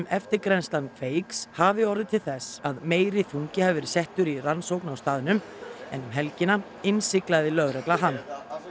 eftirgrennslan Kveiks hafi orðið til þess að meiri þungi hafi verið settur í rannsókn á staðnum en um helgina innsiglaði lögregla hann